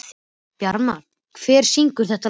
Bjarmar, hver syngur þetta lag?